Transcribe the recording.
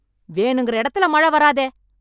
வேணுங்கிற இடத்துலே மழை வராதே.